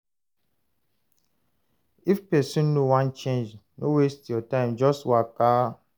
If person no wan change, no waste your time, just waka